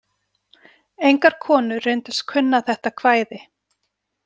Engar konur reyndust kunna þetta kvæði.